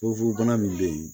Fugofugobana min bɛ yen